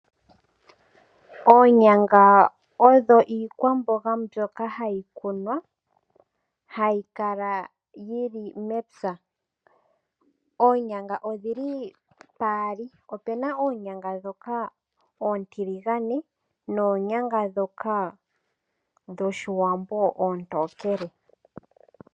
Oonyanga odho iikwamboga ndyoka hayi kunwa hayi kala yili mepya. Oonyanga odhili paali opena Oonyanga ndhoka oontiligane noonyanga ndhoka dhoshiwambo oontokele.